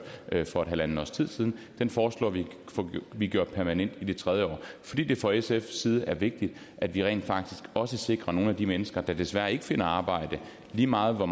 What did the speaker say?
for halvandet års tid siden den foreslår vi at vi gør permanent i det tredje år fordi det fra sfs side er vigtigt at vi rent faktisk også sikrer nogle af de mennesker der desværre ikke har fundet arbejde lige meget hvor